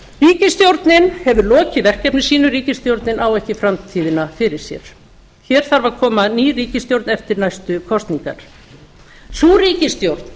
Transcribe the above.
ríkisstjórnin hefur lokið verkefni sínu ríkisstjórnin á ekki framtíðina fyrir sér hér þarf að koma ný ríkisstjórn eftir næstu kosningar sú ríkisstjórn